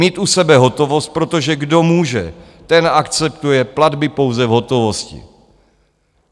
Mít u sebe hotovost, protože kdo může, ten akceptuje platby pouze v hotovosti.